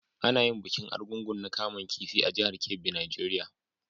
Ana yin bikin Argungu na kaman kifi a jihar Kebbi, Nigeria.